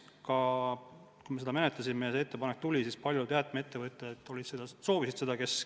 Kui me seda menetlesime ja see ettepanek tuli, siis paljud jäätmeettevõtted soovisid seda.